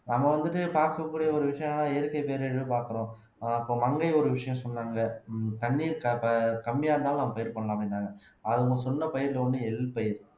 நம்ம வந்துட்டு பார்க்கக்கூடிய ஒரு விஷயம்ன்னா இயற்கை பேரழிவு பார்க்கிறோம் அப்ப மங்கை ஒரு விஷயம் சொன்னாங்க தண்ணீர் க க கம்மியா இருந்தாலும் நம்ம பயிர் பண்ணலாம் அப்படின்னாங்க அது அவங்க சொன்ன பயிர்ல ஒண்ணு எள் பயிர்